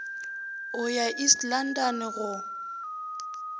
o ya east london go